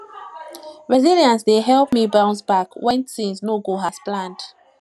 resilience dey help me bounce back when things no go as planned